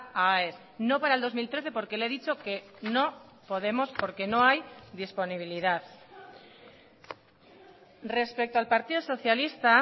a aes no para el dos mil trece porque le he dicho que no podemos porque no hay disponibilidad respecto al partido socialista